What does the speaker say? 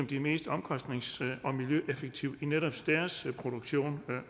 de mest omkostnings og miljøeffektive i netop deres produktion